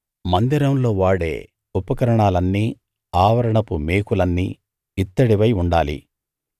మందిరంలో వాడే ఉపకరణాలన్నీ ఆవరణపు మేకులన్నీ ఇత్తడివై యుండాలి